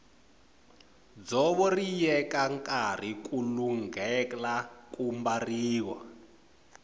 dzovo ri yeka nkarhi ku lunghela ku mbariwa